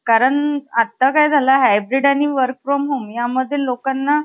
छपन्न पाच हजार सहाशे तेहेतीस रुपये अकरा आणे चार पै एवढी रक्कम शिल्लक होती.